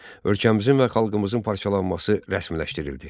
Ölkəmizin və xalqımızın parçalanması rəsmiləşdirildi.